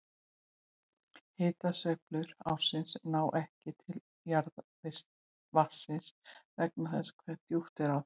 Hitasveiflur ársins ná ekki til jarðvatnsins vegna þess hve djúpt er á því.